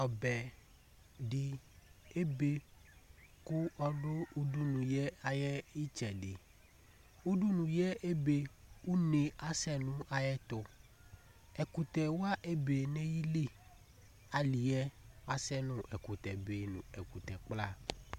ɔbɛ di ebe kʋ ɔdʋ udunu yɛ ayitsɛdiUdunuyɛ ebe Une asɛ nʋ ayɛtuEkutɛwa ebe nayiiliAliyɛ asɛ asɛ nu ɛkutɛ be nu ɛkutɛ kplaa